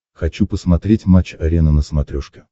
хочу посмотреть матч арена на смотрешке